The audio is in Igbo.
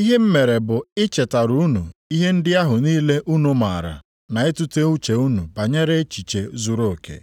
ihe m mere bụ ichetara unu ihe ndị ahụ niile unu maara na itute uche unu banyere echiche zuruoke.